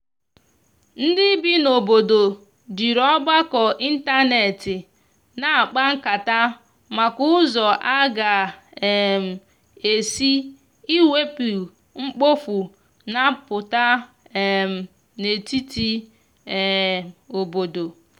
ndi ibi na obodo jiri ọgbako ịntanetị na akpa nkata maka ụzọ aga um esi iwepụ mkpofu na aputa um n'etiti um obodo